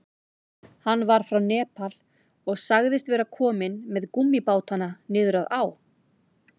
Hann var frá Nepal og sagðist vera kominn með gúmmíbátana niður að á.